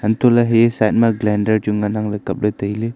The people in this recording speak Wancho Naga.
anto le hi side ma glander chu ngan nang le kaple taile.